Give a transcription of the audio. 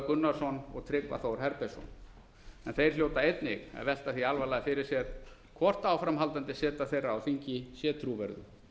gunnarsson og tryggva þór herbertsson en þeir hljóta einnig að velta því alvarlega fyrir sér hvort áframhaldandi seta þeirra á þingi sé trúverðug